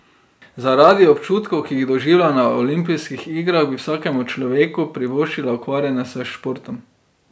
Zaradi občutkov, ki jih doživljam na olimpijskih igrah, bi vsakemu človeku privoščila ukvarjanje s športom.